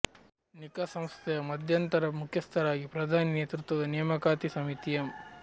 ನಿಖಾ ಸಂಸ್ಥೆಯ ಮಧ್ಯಂತರ ಮುಖ್ಯಸ್ಥರಾಗಿ ಪ್ರಧಾನಿ ನೇತೃತ್ವದ ನೇಮಕಾತಿ ಸಮಿತಿ ಎಂ